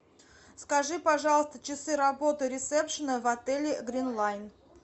скажи пожалуйста часы работы ресепшена в отеле грин лайн